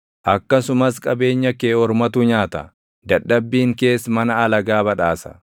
akkasumas qabeenya kee ormatu nyaata; dadhabbiin kees mana alagaa badhaasa.